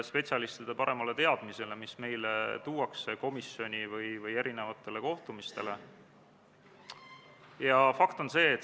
Riigikaitsekomisjon arutas eelnõu enne teisele lugemisele esitamist oma k.a 21. oktoobri istungil.